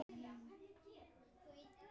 Mun eitthvað gerast?